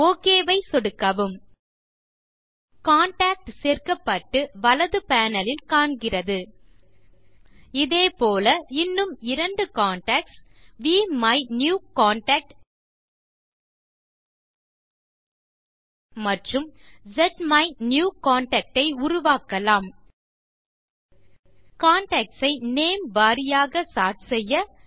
okay ஐ சொடுக்கவும் contact சேர்க்கப்பட்டு வலது பேனல் இல் காண்கிறது இதே போல இன்னும் இரண்டு கான்டாக்ட்ஸ் விமினியூகன்டாக்ட் மற்றும் ஸ்மைனியூகன்டாக்ட் ஐ உருவாக்கலாம் கான்டாக்ட்ஸ் ஐ நேம் வாரியாக சோர்ட் செய்ய